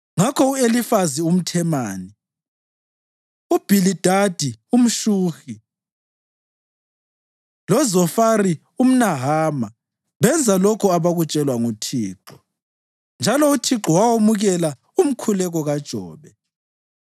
Ngakho u-Elifazi umThemani, uBhilidadi umShuhi loZofari umNahama benza lokho abakutshelwa nguThixo; njalo uThixo wawemukela umkhuleko kaJobe.